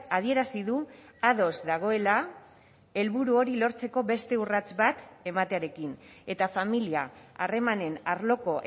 adierazi du ados dagoela helburu hori lortzeko beste urrats bat ematearekin eta familia harremanen arloko